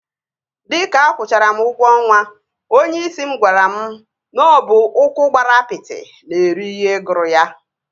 Dịka akwụchara m ụgwọ ọnwa, onyeisi m gwara m na ọ bụ ụkwụ gbara apịtị na-eri ihe gụrụ ya